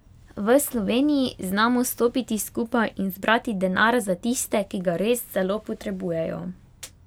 V Sloveniji znamo stopiti skupaj in zbrati denar za tiste, ki ga res zelo potrebujejo.